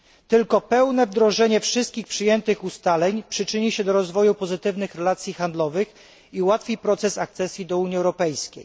Tylko pełne wdrożenie wszystkich przyjętych ustaleń przyczyni się do rozwoju pozytywnych relacji handlowych i ułatwi proces akcesji do Unii Europejskiej.